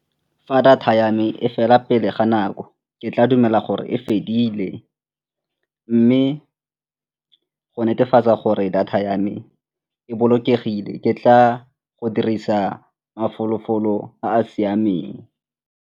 Fa data ya me e fela pele ga nako ke tla dumela gore e fedile mme go netefatsa gore data ya me e bolokegile ke tla go dirisa mafolofolo a a siameng.